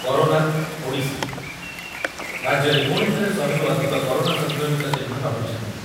Corona Odisha, ରାଜ୍ୟରେ ପୁଣିଥରେ ଶହେ ରୁ ଅଧିକ କରୋନା ସଂକ୍ରମିତ ଚିହ୍ନଟ ହୋଇଛନ୍ତି।